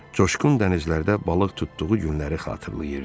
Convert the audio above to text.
Coşqun dənizlərdə balıq tutduğu günləri xatırlayırdı.